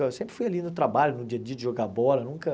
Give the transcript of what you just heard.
Eu sempre fui ali no trabalho, no dia a dia de jogar bola, nunca.